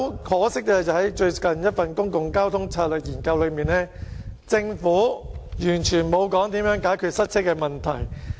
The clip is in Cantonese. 可惜的是，在最近一份《公共交通策略研究》報告內，政府完全沒有提及如何解決塞車的問題。